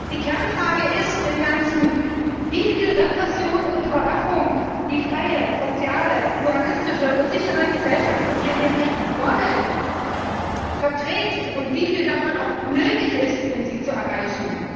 Die Kernfrage ist im Wesentlichen, wie viel Repression und Überwachung die freie, soziale, pluralistische und sichere Gesellschaft, in der wir leben wollen, verträgt, und wie viel davon auch nötig ist, um sie zu erreichen.